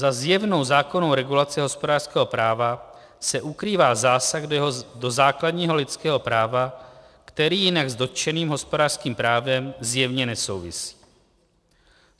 Za zjevnou zákonnou regulací hospodářského práva se ukrývá zásah do základního lidského práva, který jinak s dotčeným hospodářským právem zjevně nesouvisí.